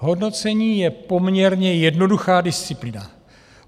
Hodnocení je poměrně jednoduchá disciplína.